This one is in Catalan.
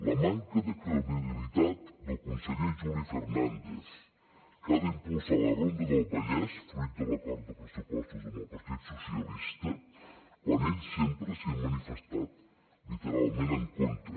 la manca de credibilitat del conseller juli fernàndez que ha d’impulsar la ronda del vallès fruit de l’acord de pressupostos amb el partit socialista quan ell sempre s’hi ha manifestat literalment en contra